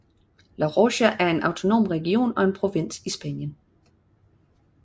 La Rioja er en autonom region og en provins i Spanien